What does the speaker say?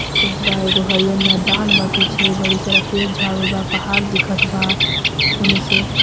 करत बा एगो हरियर मैदान बा पीछे बड़ी सारा पेड़ झाड़ बा पहाड़ दिखत बा एने से.